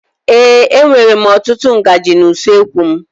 Ee, e nwèrè m ọtụtụ ngaji na usoekwu m.